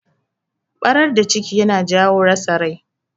Barar da ciki yana jawo rasa rai.